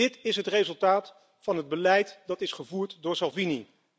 Dit is het resultaat van het beleid dat is gevoerd door Salvini.